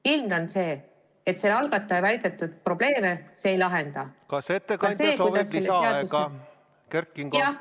Ilmne on see, et probleeme see ei lahenda, kuigi algatajad seda loodavad.